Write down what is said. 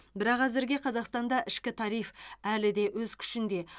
бірақ әзірге қазақстанда ішкі тариф әлі де өз күшінде